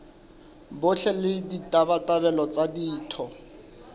botle le ditabatabelo tsa ditho